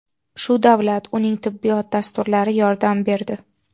Shu davlat, uning tibbiyot dasturlari yordam berdi.